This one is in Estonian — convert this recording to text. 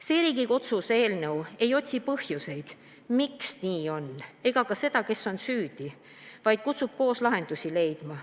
Selles Riigikogu otsuse eelnõus ei otsita põhjuseid, miks nii on, ega ka seda, kes on süüdi, vaid kutsutakse koos lahendusi leidma.